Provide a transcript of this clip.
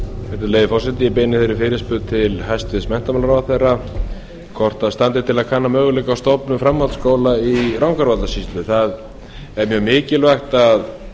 virðulegi forseti ég beini þeirri fyrirspurn til hæstvirts menntamálaráðherra hvort standi til að kanna möguleika á stofnun framhaldsskóla í rangárvallasýslu það er mjög mikilvægt að